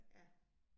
Ja